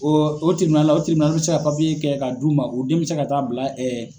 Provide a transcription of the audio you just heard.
Ɔn o la ,o be se ka papiye kɛ ka d'u ma. O den be se ka taa bila ɛɛ